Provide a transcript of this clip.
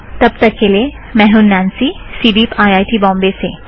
तब तक के लिए मैं हूँ Nancy CDEEP IIT Bombay से